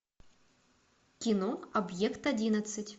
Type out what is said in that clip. кино объект одиннадцать